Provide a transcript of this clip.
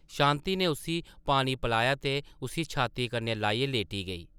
शांति नै उस्सी पानी पलाया ते उस्सी छाती कन्नै लाइयै लेटी गेई ।